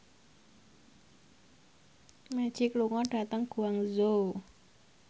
Magic lunga dhateng Guangzhou